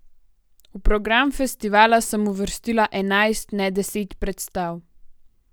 V program festivala sem uvrstila enajst, ne deset predstav.